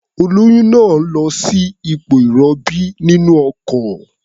Olóyún náà lọ sí ipò ìrọbí nínú ọkọ̀.